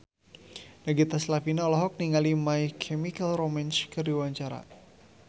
Nagita Slavina olohok ningali My Chemical Romance keur diwawancara